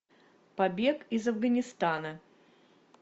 побег из афганистана